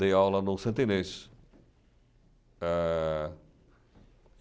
Dei aula no Santa Inês.